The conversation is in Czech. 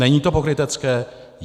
Není to pokrytecké?